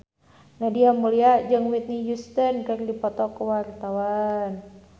Nadia Mulya jeung Whitney Houston keur dipoto ku wartawan